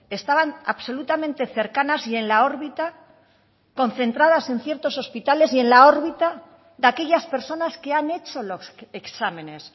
estaban absolutamente cercanas y en la órbita concentradas en ciertos hospitales y en la órbita de aquellas personas que han hecho los exámenes